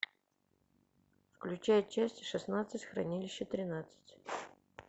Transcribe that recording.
включай часть шестнадцать хранилище тринадцать